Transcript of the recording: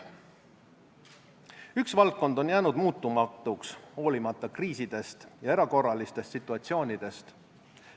Üks valdkond on jäänud muutumatuks hoolimata kriisidest ja erakorralistest situatsioonidest.